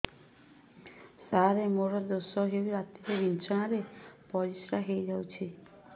ସାର ମୋର ଦୋଷ ହୋଇ ରାତିରେ ବିଛଣାରେ ପରିସ୍ରା ହୋଇ ଯାଉଛି